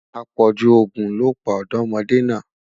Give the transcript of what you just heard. apọju ogún ló pa ọdọmọde na